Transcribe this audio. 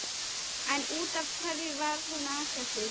En út af hverju var hún að þessu?